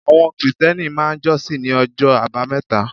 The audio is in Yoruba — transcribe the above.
Àwọn Krìstẹ́nì máà ń jọ́sìn ní ọjọ́ àbámẹ́ta